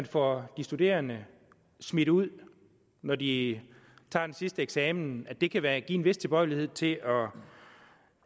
få de studerende smidt ud når de tager den sidste eksamen så det kan give en vis tilbøjelighed til